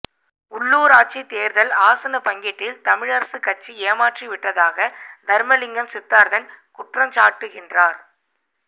உள்ளூராட்சி தேர்தல் ஆசனப் பங்கீட்டில் தமிழரசுக்கட்சி ஏமாற்றிவிட்டதாக தர்மலிங்கம் சித்தார்த்தன் குற்றச்சாட்டுகின்றார்